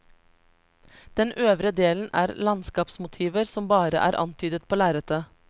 Den øvre delen er landskapsmotiver, som bare er antydet på lerretet.